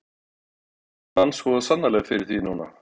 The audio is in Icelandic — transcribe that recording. En hún vann svo sannarlega fyrir því núna.